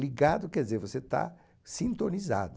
Ligado quer dizer que você está sintonizado.